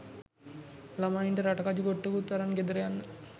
ළමයින්ට රටකජු ගොට්ටකුත් අරන් ගෙදර යන්න